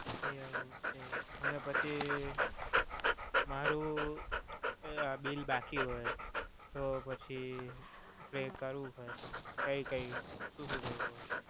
એવું છે. અને પછી મારુ bill બાકી હોય તો પછી કાઇ કરવું હોય તો શું શું કરવું પડે?